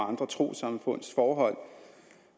andre trossamfunds forhold